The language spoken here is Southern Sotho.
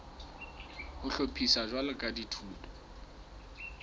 ho hlophiswa jwalo ka dithuto